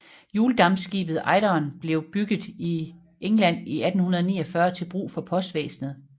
Hjuldampskibet Eideren blev bygget i England i 1849 til brug for postvæsenet